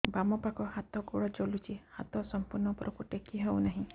ବାମପାଖ ହାତ ଗୋଡ଼ ଜଳୁଛି ହାତ ସଂପୂର୍ଣ୍ଣ ଉପରକୁ ଟେକି ହେଉନାହିଁ